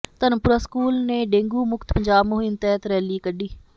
Dharampura school ਨੇ dengue ਮੁਕਤ ਪੰਜਾਬ ਮੁਹਿੰਮ ਤਹਿਤ ਰੈਲੀ ਕੱਢੀ